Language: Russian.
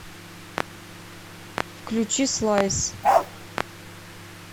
включи слайс